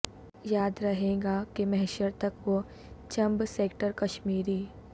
یاد رہے گا کہ محشر تک وہ چھمب سیکٹر کشمیری